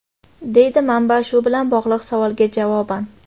deydi manba shu bilan bog‘liq savolga javoban.